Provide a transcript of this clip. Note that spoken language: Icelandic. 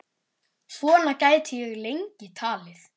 Svona gæti ég lengi talið.